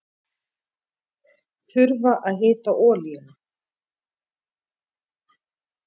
Þurfa að hita olíuna